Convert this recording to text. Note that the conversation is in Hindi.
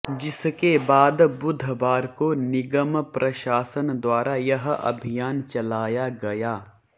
जिसके बाद बुधवार को निगम प्रशासन द्वारा यह अभियान चलाया गया